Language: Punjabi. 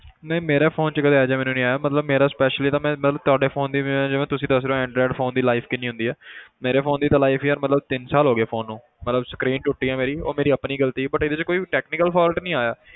ਨਹੀਂ ਮੇਰੇ phone 'ਚ ਕਦੇ ਇਹ ਜਿਹਾ ਮੈਨੂੰ ਨੀ ਆਇਆ ਮਤਲਬ ਮੇਰਾ specially ਇਹ ਤਾਂ ਮੈਂ ਮਤਲਬ ਤੁਹਾਡੇ phone ਦੀ ਮੈਂ ਜਿਵੇਂ ਤੁਸੀਂ ਦੱਸ ਰਹੇ ਹੋ android phone ਦੀ life ਕਿੰਨੀ ਹੁੰਦੀ ਹੈ ਮੇਰੇ phone ਦੀ ਤਾਂ life ਯਾਰ ਮਤਲਬ ਤਿੰਨ ਸਾਲ ਹੋ ਗਏ phone ਨੂੰ ਮਤਲਬ screen ਟੁੱਟੀ ਹੈ ਮੇਰੀ ਉਹ ਮੇਰੀ ਆਪਣੀ ਗ਼ਲਤੀ ਸੀ but ਇਹਦੇ 'ਚ ਕੋਈ ਵੀ technical fault ਨੀ ਆਇਆ।